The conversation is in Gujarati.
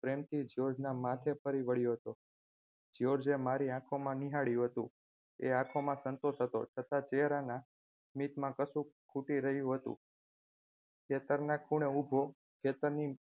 પ્રેમથી જ્યોર્જના માથે ફરી વાળ્યો હતો જ્યોર્જએ મારી આંખોમાં નિહાળ્યું હતું આ આંખોમાં સંતોષ હતો તથા ચહેરાના સ્મિત માં કશુક ખૂટી રહ્યું હતું ખેતરના ખૂણે ઉભો ખેતરની